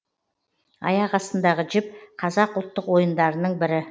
аяқ астындағы жіп қазақ ұлттық ойындарының бірі